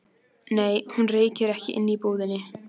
Nei, hún reykir ekki inni í búðinni.